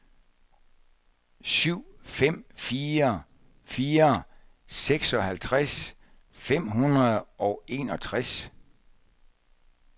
syv fem fire fire seksoghalvtreds fem hundrede og enogtres